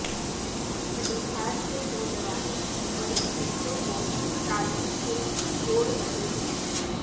کٹیہار کےنوجوان غریب بچوں کو تعلیم سے جوڑرہے ہیں